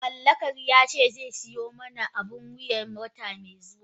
Mallakar yace zai siyo mani abun wuya wata mai zuwa.